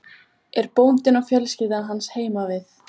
Er bóndinn og fjölskylda hans heima við?